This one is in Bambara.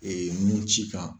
nunci kan.